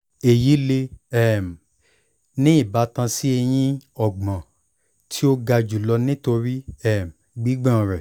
eyi le um ni ibatan si eyin ọgbọn ti o ga julọ nitori um gbigbọn rẹ